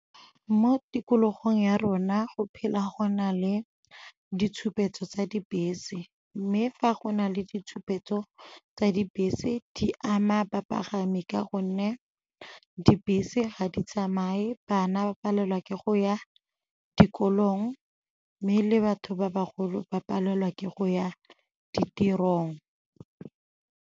Mo tikologong ya rona go phela go na le ditshupetso tsa dibese, mme fa go na le ditshupetso tsa dibese di ama bapagami ka gonne dibese ga di tsamaye, bana ba palelwa ke go ya dikolong mme le batho ba bagolo ba palelwa ke go ya ditirong.